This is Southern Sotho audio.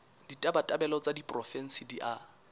ditabatabelo tsa diporofensi di a